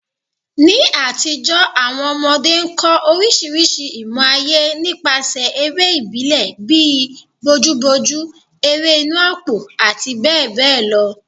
Ní àtijọ́, àwọn ọmọdé kọ́ orísìírísìí ìmọ̀ ayé nípasẹ̀ eré ìbílẹ̀ bíi bojúbojú, ẹrẹ́ inù àpò àti bẹ́ẹ̀ bẹ́ẹ̀ lọ.